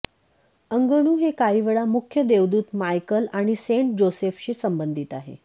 अंगणु हे काहीवेळा मुख्य देवदूत मायकल आणि सेंट जोसेफशी संबंधित आहे